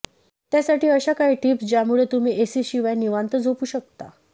त्यासाठी अशा काही टिप्स ज्यामुळे तुम्ही एसीशिवाय निवांत झोपू शकता